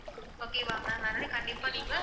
okay வா ma'am அதனால கண்டிப்பா நீங்க